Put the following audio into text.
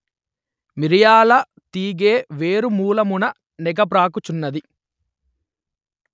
మిరియాల తీగె వేరుమూలమున నెగబ్రాకుచున్నది